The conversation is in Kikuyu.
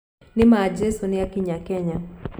Nima Jesu nĩakinya Kenya.